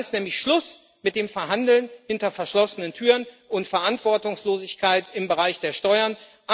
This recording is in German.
Dann ist nämlich Schluss mit dem Verhandeln hinter verschlossenen Türen und Verantwortungslosigkeit im Bereich der Steuern.